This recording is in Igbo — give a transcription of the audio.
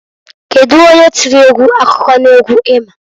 Kedu onye tiri egwu akụkọ n'egwu i ma?